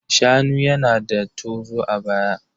Shanu yana da tozo a baya.